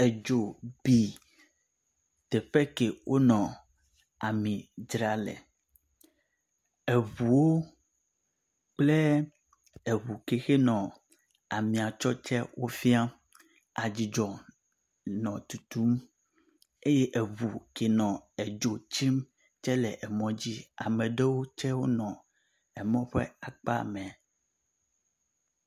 Edzo bi teƒe ke wonɔ ami dzram le. Eŋuwo kple eŋukexe nɔ amia tsɔ tse wofia. Adzidzɔ nɔ tutum eye eŋu ke nɔ edzo tsim tse le emɔ dzi. Ame aɖewo tse wonɔ emɔ ƒe akpa mɛ.